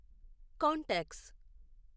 contacts